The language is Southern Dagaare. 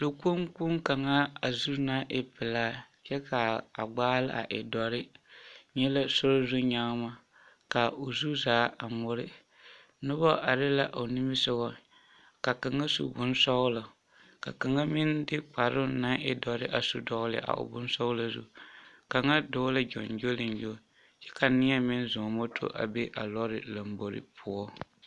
Lɔkpoŋkpoŋ kaŋa a zu naŋ e pelaa kyɛ k'a gbaale a e dɔre nyɛ la sori zu nyagema ka o zu zaa a ŋmore, noba are la o nimisogɔ ka kaŋa su bonsɔgelɔ ka kaŋa meŋ de kparoŋ naŋ e bondɔre a su dɔgele a o bonsɔgelɔ zu kaŋa dɔɔ la gyoŋgyoliŋgyo kyɛ ka neɛ meŋ zɔɔ moto a be a lɔɔre lombori poɔ.